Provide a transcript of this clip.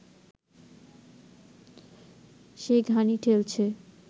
সেই ঘানি ঠেলছে